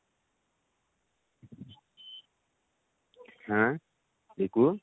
ହାଁ ମିକୁ?